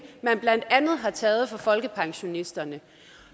man blandt andet har taget fra folkepensionisterne